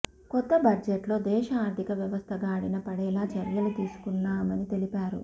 కొత్త బడ్జెట్లో దేశ ఆర్థిక వ్యవస్థ గాడిన పడేలా చర్యలు తీసుకున్నామని తెలిపారు